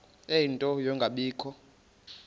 ie nto yokungabikho